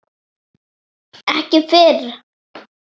Ekki fyrr?